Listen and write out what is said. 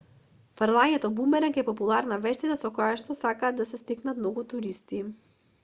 фрлањето бумеранг е популарна вештина со којашто сакаат да се стекнат многу туристи